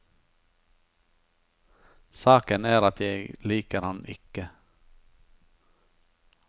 Saken er at jeg liker ham ikke.